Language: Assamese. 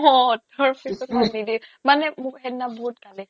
অ তাৰপিছ্ত মানে মোক সেইদিনা বহুত গালি